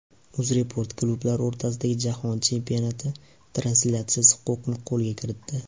UzReport klublar o‘rtasidagi Jahon Chempionati translyatsiyasi huquqini qo‘lga kiritdi.